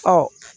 Ɔ